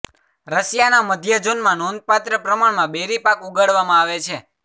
રશિયાના મધ્ય ઝોનમાં નોંધપાત્ર પ્રમાણમાં બેરી પાક ઉગાડવામાં આવે છે